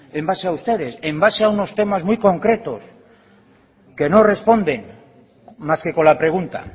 en base a ustedes en base a unos temas muy concretos que no responden más que con la pregunta